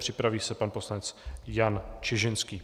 Připraví se pan poslanec Jan Čižinský.